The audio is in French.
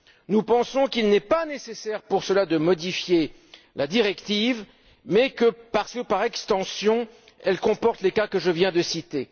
Nous pensons qu'il n'est pas nécessaire pour cela de modifier la directive parce que, par extension, elle comporte les cas que je viens de citer.